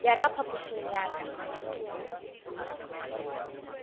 ya ka phapošing ya ka